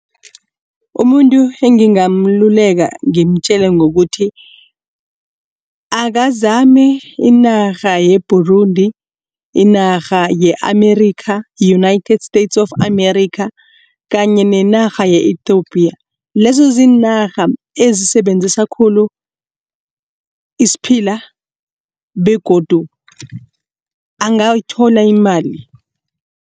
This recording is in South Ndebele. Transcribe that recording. Umuntu engingamluleka ngimtjele ngokuthi akazame inarha ye-Burundi, inarha ye-Amerika united states of america kanye nenarha ye-Ethopia. Lezo ziinarha ezisebenzisa khulu isiphila begodu angathola imali.